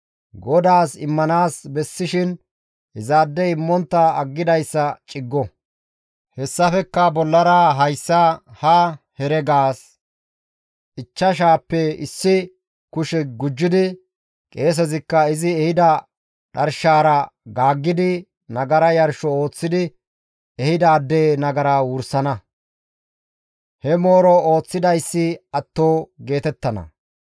GODAAS immanaas bessishin izaadey immontta aggidayssa ciggo; hessafekka bollara hayssa ha heregaas ichchashaappe issi kushe gujjidi qeesezikka izi ehida dharshaara gaaggidi nagara yarsho ooththidi ehidaade nagara wursana; he mooro ooththidayssi atto geetettana.